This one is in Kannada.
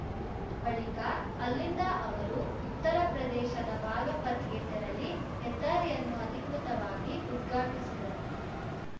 ಬಳಿಕ ಅಲ್ಲಿಂದ ಅವರು ಉತ್ತರ ಪ್ರದೇಶದ ಬಾಗಪತ್‌ಗೆ ತೆರಳಿ ಹೆದ್ದಾರಿಯನ್ನು ಅಧಿಕೃತವಾಗಿ ಉದ್ಘಾಟಿಸಿದರು